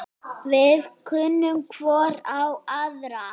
Við kunnum hvor á aðra.